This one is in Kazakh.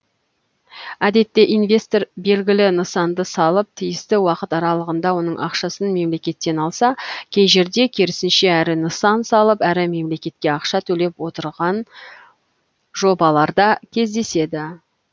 әдетте инвестор белгілі нысанды салып тиісті уақыт аралығында оның ақшасын мемлекеттен алса кей жерде керісінше әрі нысан салып әрі мемлекетке ақша төлеп отыраған жобаларда кездеседі